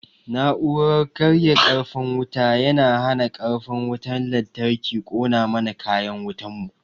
Na'uran karya karfin wuta yana hana karfin wutan lantarki kona mana kayan wutan mu